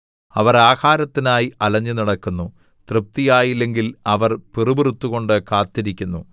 അവർ ആഹാരത്തിനായി അലഞ്ഞു നടക്കുന്നു തൃപ്തിയായില്ലെങ്കിൽ അവർ പിറുപിറുത്തുകൊണ്ട് കാത്തിരിക്കുന്നു